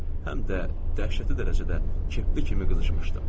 Həm də dəhşətli dərəcədə kefli kimi qızışmışdı.